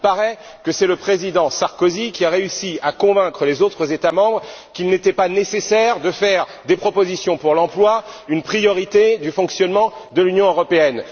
Il paraît que c'est le président Sarkozy qui a réussi à convaincre les autres États membres qu'il n'était pas nécessaire de faire des propositions pour l'emploi une priorité du fonctionnement de l'Union européenne.